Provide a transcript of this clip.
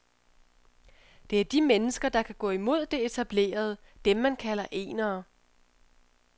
Det er de mennesker, der kan gå imod det etablerede, dem, man kalder enere.